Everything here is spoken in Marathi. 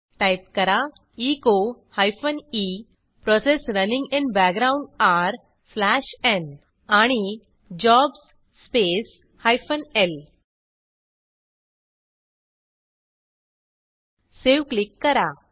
टाईप करा echo e process running in background आरे स्लॅश न् आणि jobs space hyphen L save click करा